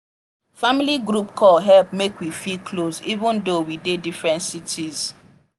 family group call help make we feel close even though we dey different cities.